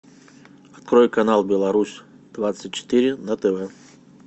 открой канал беларусь двадцать четыре на тв